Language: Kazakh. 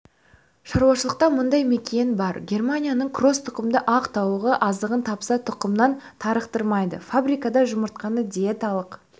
шаруашылықта мыңдай мекиен бар германияның кросс тұқымды ақ тауығы азығын тапса тұқымнан тарықтырмайды фабрикада жұмыртқаны диеталық